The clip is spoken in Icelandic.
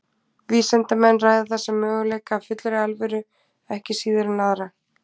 Vísindamenn ræða þessa möguleika af fullri alvöru ekki síður en aðra.